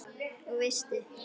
Og veistu.